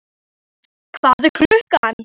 Heiðar, hvað er klukkan?